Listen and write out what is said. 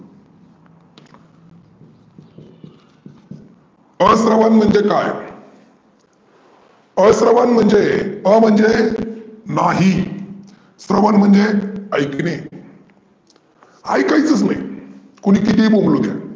अश्रव्य म्हणजे काय? अश्रव्य म्हणजे? अ म्हणजे? नाही, अ श्रव्य म्हणजे ऐकने, ऐकायचचं नाही, कोणी किती ही बोंबलू द्या.